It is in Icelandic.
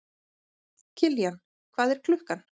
Kiljan, hvað er klukkan?